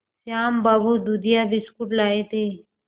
श्याम बाबू दूधिया बिस्कुट लाए थे